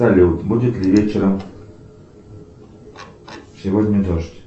салют будет ли вечером сегодня дождь